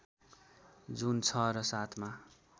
जुन ६ र ७ मा